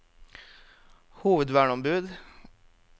hovedverneombud